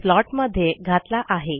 स्लॉटमध्ये घातला आहे